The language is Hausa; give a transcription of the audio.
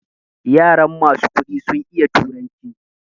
Yaran masu kuɗi sun iya turanci